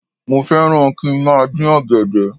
Mo fẹ́ràn kí n má a dín ọ̀gẹ̀dẹ̀